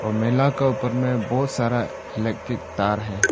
और मेला का ऊपर में बहुत सारा इलेक्ट्रिक तार है।